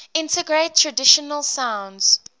integrate traditional sounds